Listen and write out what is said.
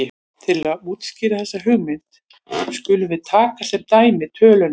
Til að útskýra þessa hugmynd skulum við taka sem dæmi töluna